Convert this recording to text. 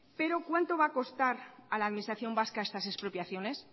pero cuánto va a costar a la administración vasca estas expropiaciones